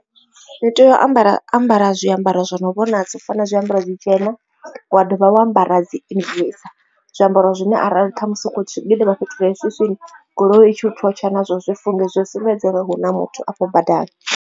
Ndi tea u ambara ambara zwiambaro zwo no vhonadza u fana na zwiambaro zwi tshena wa dovha wa ambara dzi zwiambaro zwine arali ṱhamusi u tshi gidima fhethu hu re swiswini goloi i tshi u thotsha nazwo zwi funge zwi sumbedze uri hu na muthu afho badani.